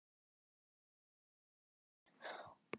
Svo komu þeir ekki.